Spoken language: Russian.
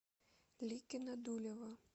ликино дулево